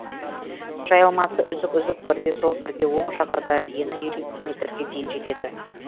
жайылмасы үзік үзік бірде сол бірде оң жағада ені елу метрге дейін жетеді